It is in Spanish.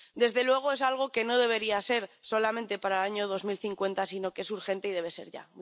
Desde luego es algo que no debería ser solamente para el año 2050, sino que es urgente y debe ser ya.